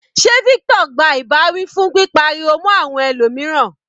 Sé Victor gba ìbáwí fún pípa ariwo mọ́ àwọn ẹlòmíràn.